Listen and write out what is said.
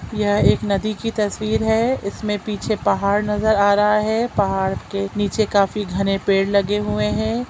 यह एक नदी की तस्वीर है इस में पीछे पहाड़ नज़र आ रहा है पहाड़ के निचे काफी घने पेड़ लगे हुए है।